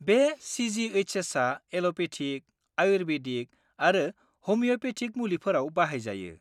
बे सि.जि.एइस.एस.आ एल'पेथिक, आयुर्बेदिक आरो हमिय'पेथिक मुलिफोराव बाहायजायो।